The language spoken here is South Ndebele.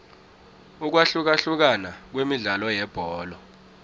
ukwahlukahlukana kwemidlalo yebholo